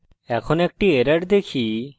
এখন একটি error দেখি যা আমরা পেতে পারি